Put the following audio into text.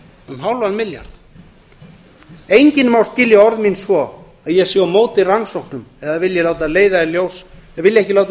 um hálfum milljarði enginn má skilja orð mín svo að ég sé á móti rannsóknum eða vilji ekki láta